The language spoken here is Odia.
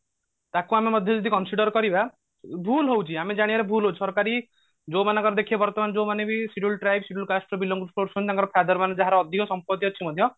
ତାକୁ ଆମେ ମଧ୍ୟ ଯଦି consider କରିବା ଭୁଲ ହଉଛି ଆମେ ଜାଣିବାରେ ଭୁଲ ହଉଛି ସରକାରୀ ଯୋଉମାନଙ୍କର ଦେଖିବେ ବର୍ତମାନ ଯୋଉମାନେ scheduled tribe scheduled cast ରେ belong କରୁଛନ୍ତି ତାଙ୍କର father ମାନେ ଯାହାର ଅଧିକ ସମ୍ପତି ଅଛି ମଧ୍ୟ